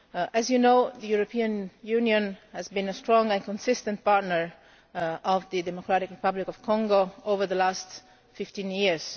As you know, the European Union has been a strong and consistent partner to the Democratic Republic of Congo over the last 15 years.